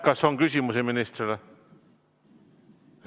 Kas on küsimusi ministrile?